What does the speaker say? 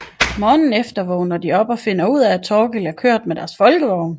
Morgenen efter vågner de op og finder ud af at Thorkild er kørt med deres Folkevogn